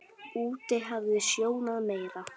Úti hafði snjóað meira.